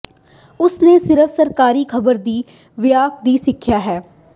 ਉਸ ਨੇ ਸਿਰਫ ਸਰਕਾਰੀ ਖਬਰ ਦੀ ਵਿਆਹ ਦੀ ਸਿੱਖਿਆ ਹੈ